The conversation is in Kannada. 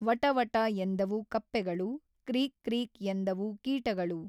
ವಟ ವಟ ಎಂದವು ಕಪ್ಪೆಗಳು, ಕ್ರೀಕ್‌ ಕ್ರೀಕ್‌ ಎಂದವು ಕೀಟಗಳು.